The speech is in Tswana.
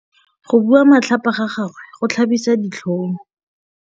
Go bua matlhapa ga gagwe go tlhabisa ditlhong.